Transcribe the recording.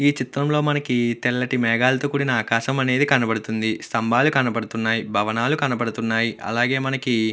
ఈ చిత్రంలో మనకి తెల్లటి మేఘాలతో కూడిన ఆకాశమనేది కనబడుతుంది. స్తంభాలు కనబడుతున్నాయి. భవనాలు కనపడుతున్నాయి. అలాగే మనకి --